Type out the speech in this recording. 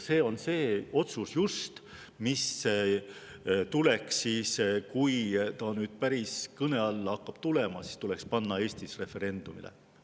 See on just see otsus, mis tuleks siis, kui see päris kõne alla hakkab tulema, panna Eestis referendumile.